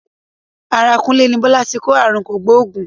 Ara Kúnlé ní Bọ́lá ti kó ààrùn kògbóògùn.